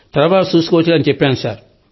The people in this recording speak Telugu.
తర్వాత చూసుకోవచ్చులే అని చెప్పాను సార్